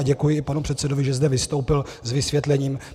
A děkuji i panu předsedovi, že zde vystoupil s vysvětlením.